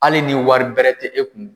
Hali ni wari bɛrɛ tɛ e kun